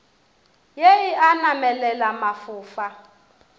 ye e a namelela mafofa